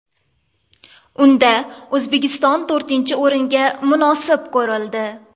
Unda O‘zbekiston to‘rtinchi o‘ringa munosib ko‘rildi.